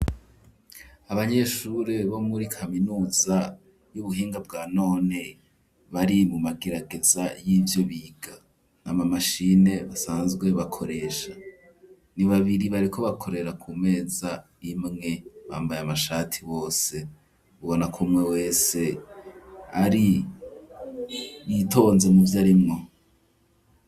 Abanyeshure bo muri kaminuza y'ubuhinga bwa none bari mu magirageza y'ivyo biga ni amamashine basanzwe bakoresha ni babiri bareko bakorera ku meza imwe bambaye amashati wose ubona kumwe wese ari i itonze mu vyo arimwo.